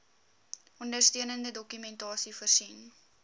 ondersteunende dokumentasie voorsien